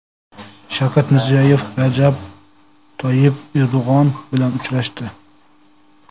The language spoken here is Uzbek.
Shavkat Mirziyoyev Rajab Toyyib Erdo‘g‘on bilan uchrashdi.